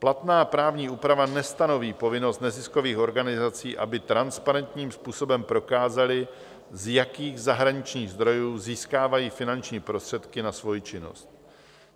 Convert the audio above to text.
Platná právní úprava nestanoví povinnost neziskových organizací, aby transparentním způsobem prokázaly, z jakých zahraničních zdrojů získávají finanční prostředky na svoji činnost.